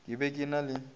ke be ke na le